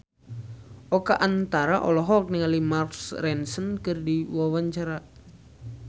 Oka Antara olohok ningali Mark Ronson keur diwawancara